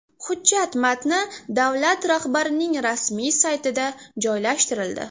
Hujjat matni davlat rahbarining rasmiy saytida joylashtirildi .